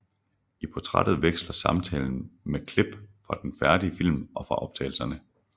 I portrættet veksler samtalen med klip fra den færdige film og fra optagelserne